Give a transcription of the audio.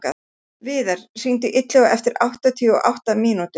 Viðar, hringdu í Illuga eftir áttatíu og átta mínútur.